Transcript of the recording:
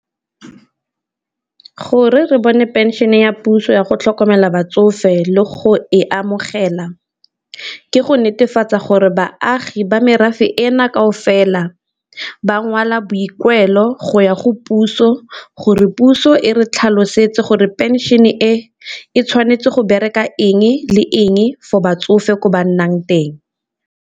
Gore re bone pension ya puso ya go tlhokomela batsofe le go e amogela, ke go netefatsa gore baagi ba merafe ena kao fela ba ngwala boikuelo go ya go puso gore puso e re tlhalosetse gore pension e, e tshwanetse go bereka eng le eng for batsofe ko ba nnang teng.